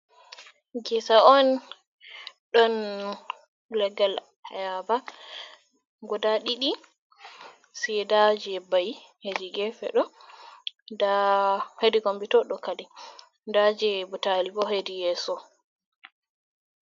Ngesa on ɗon legal ayaba guda ɗiɗi. ceda je bai hedi gefeɗo hedi combute do kadi da je botalibo bo hedi yeso.